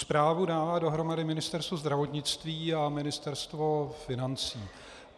Zprávu dávalo dohromady Ministerstvo zdravotnictví a Ministerstvo financí.